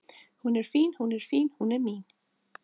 Hún er fín hún er fín, hún er mín